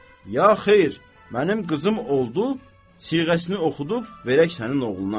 Ya xeyr, mənim qızım oldu, siğəsini oxudub verək sənin oğluna.